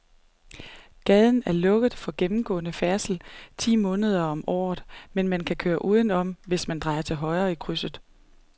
Gaden er lukket for gennemgående færdsel ti måneder om året, men man kan køre udenom, hvis man drejer til højre i krydset.